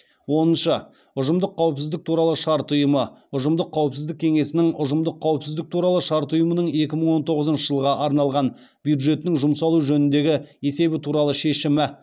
оныншы ұжымдық қауіпсіздік туралы шарт ұйымы ұжымдық қауіпсіздік кеңесінің ұжымдық қауіпсіздік туралы шарт ұйымының екі мың он тоғызыншы жылға арналған бюджетінің жұмсалуы жөніндегі есебі туралы шешімі